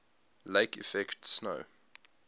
lake effect snow